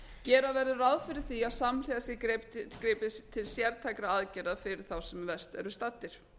gera verður ráð fyrir því að samhliða sé gripið til sértækra aðgerða fyrir þá sem verst eru staddir